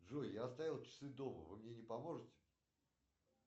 джой я оставил часы дома вы мне не поможете